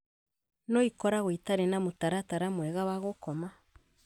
no ikoragwo itarĩ na mũtaratara mwega wa gũkoma